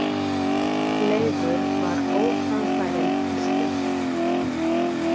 Leifur var óframfærinn piltur.